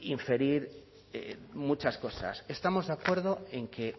inferir muchas cosas estamos de acuerdo en que